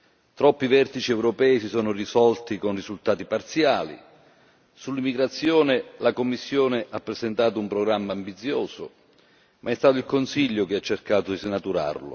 Troppi vertici europei si sono risolti con risultati parziali sull'immigrazione la Commissione ha presentato un programma ambizioso ma è stato il Consiglio che ha cercato di snaturarlo